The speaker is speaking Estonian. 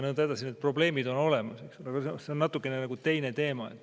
Need probleemid on olemas, aga see on nagu natukene teine teema.